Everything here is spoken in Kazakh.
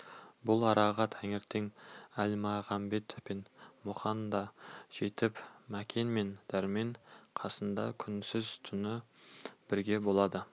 бұл араға ертең әлмағамбет пен мұқан да жетіп мәкен мен дәрмен қасында күндіз-түні бірге болады